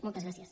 moltes gràcies